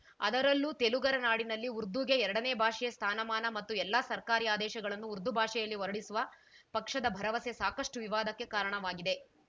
ಅದರಲ್ಲೂ ತೆಲುಗರ ನಾಡಿನಲ್ಲಿ ಉರ್ದುಗೆ ಎರಡನೇ ಭಾಷೆಯ ಸ್ಥಾನಮಾನ ಮತ್ತು ಎಲ್ಲಾ ಸರ್ಕಾರಿ ಆದೇಶಗಳನ್ನು ಉರ್ದು ಭಾಷೆಯಲ್ಲಿ ಹೊರಡಿಸುವ ಪಕ್ಷದ ಭರವಸೆ ಸಾಕಷ್ಟುವಿವಾದಕ್ಕೆ ಕಾರಣವಾಗಿದೆ